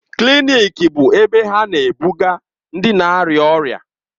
Klịnịkị bụ ebe ha na-ebuga ndị na-arịa ọrịa.